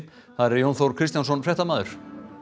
þar er Jón Þór Kristjánsson fréttamaður